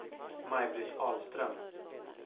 Maj-Britt Ahlström